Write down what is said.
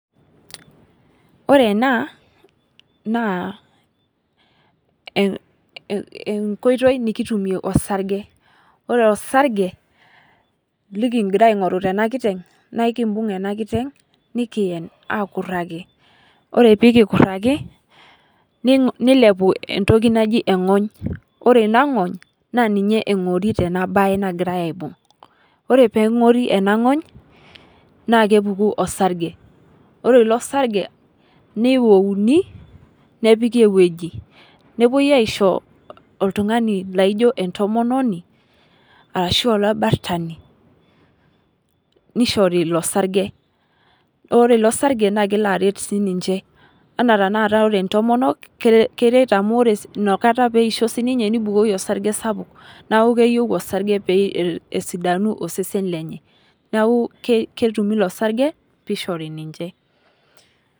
Ore ena naa enkoitoi nikitumie orsarge ,ore orsarge likingira aingoru tena kiteng naa ekimbung ena kiteng nikiyen aakuraki ,ore pee kikuraki neilepunye entoki naji engony ,ore ina ngony naa ninye engori tena baye naagirae aibung. ore pee engori ena ngony naa kepuku orsarge ore ilo sarge neiwouni nepikita eweji nepwoi aisho oltungani laijo entomononi orashu olibartani nishori ilo sarge, ore ilo sarge naa kelo aret siininche ,enaa tenakata ore ntomonok keret amu ore inakata pee eisho siininye neibukori osarge sapuk neeku keyieu orsarge pee esidanu osesen lenye neeku ketumito ilo sarge pee eishori ninche .